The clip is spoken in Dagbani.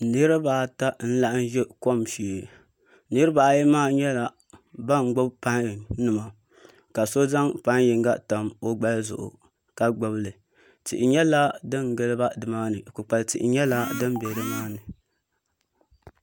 Niraba ata n laɣam ʒɛ kom shee niraba ayi maa nyɛla ban gbubi pai nima ka so zaŋ pai yinga tam o gbali zuɣu ka gbubila tihi nyɛla din giliba dimaani kpukpali tihi nyɛla din bɛ nimaani